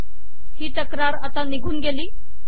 हि तक्रार आता निघून गेली